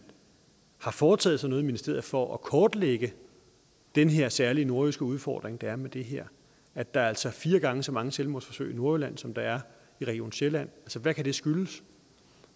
har foretaget sig noget i ministeriet for at kortlægge den her særlige nordjyske udfordring der er med det her at der altså er fire gange så mange selvmordsforsøg i nordjylland som der er i region sjælland altså hvad kan det skyldes